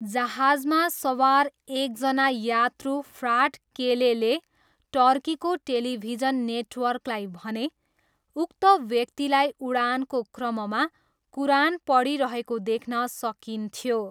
जहाजमा सवार एकजना यात्रु फ्राट केलेले टर्कीको टेलिभिजन नेटवर्कलाई भने, उक्त व्यक्तिलाई उडानको क्रममा कुरान पढिरहेको देख्न सकिन्थ्यो।